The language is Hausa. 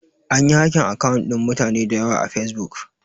Anyi hakin akawun ɗin mutane dayawa a fesbuk